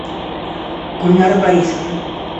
гульнара борисовна